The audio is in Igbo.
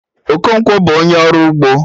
Okonkwo bụ onye ọrụ ugbo